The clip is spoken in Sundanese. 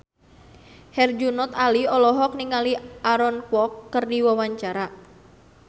Herjunot Ali olohok ningali Aaron Kwok keur diwawancara